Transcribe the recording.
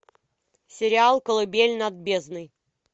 сериал колыбель над бездной